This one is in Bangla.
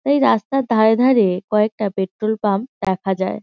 এই রাস্তার ধারে ধারে-এ কয়েকটা পেট্রোল পাম্প দেখা যায়।